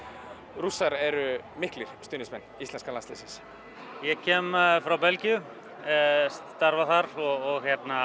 Rússar eru miklir stuðningsmenn íslenska landsliðsins ég kem frá Belgíu starfa þar og